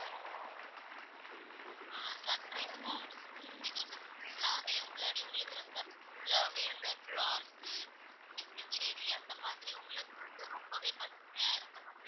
இது வந்து full லாவே உள்ளாடி உள்ளுக்கு resort full லாவே இந்த blocks சு குட்டி குட்டி செடி அந்த மாதிரி உங்களுக்கு வந்து ரொம்பவே பசுமையா இருக்கிற மாதிரி,